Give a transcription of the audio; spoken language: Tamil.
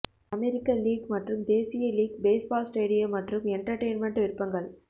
அமெரிக்க லீக் மற்றும் தேசிய லீக் பேஸ்பால் ஸ்டேடியம் மற்றும் எண்டர்டெயின்மெண்ட் விருப்பங்கள்